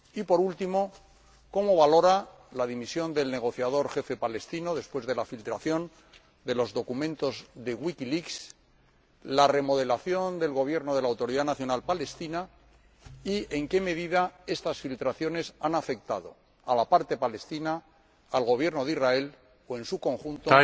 Y, por último, cómo valora la dimisión del negociador jefe palestino después de la filtración de los documentos de Wikileaks, la remodelación del Gobierno de la Autoridad Nacional Palestina, y en qué medida estas filtraciones han afectado a la parte palestina, al Gobierno de Israel o, en su conjunto,